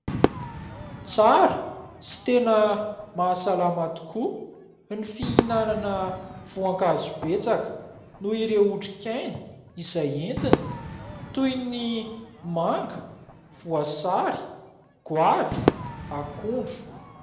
Tsara sy tena mahasalama tokoa ny fihinana voankazo betsaka ; noho ireo otrikaina izay entiny toy : ny manga, voasary, goavy, akondro.